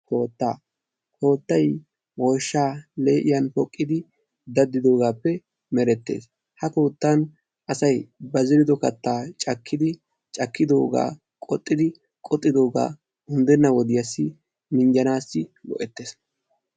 koottaa! koottay woyishaa lee'iyaan poqqidi daddidoogaappe merettes ha koottan asay ba zerido zeretta cakkidi cakkidoogaa qoxxidi qoxxidoogaa unddenna wodiyaassi minjanaassi go'ettes.